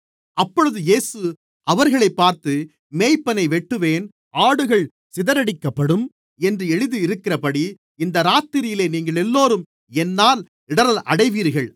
அப்பொழுது இயேசு அவர்களைப் பார்த்து மேய்ப்பனை வெட்டுவேன் ஆடுகள் சிதறடிக்கப்படும் என்று எழுதியிருக்கிறபடி இந்த இராத்திரியிலே நீங்களெல்லோரும் என்னால் இடறல் அடைவீர்கள்